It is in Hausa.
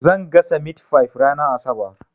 Zan gasa mitifayif ranar asabar.